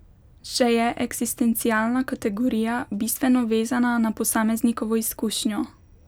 Še je eksistencialna kategorija, bistveno vezana na posameznikovo izkušnjo.